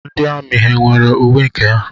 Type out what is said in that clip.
Ndị amị ha nwere uwe nke ha?